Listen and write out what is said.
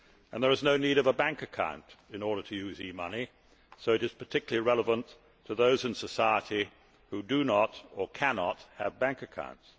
There is no need of a bank account in order to use e money, so it is particularly relevant to those in society who do not, or cannot, have bank accounts.